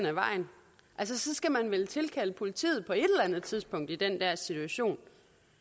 ad vejen så skal man vel tilkalde politiet på et eller andet tidspunkt i den der situation